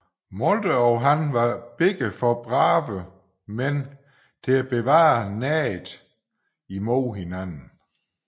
Moltke og han var begge for brave mænd til at bevare naget imod hinanden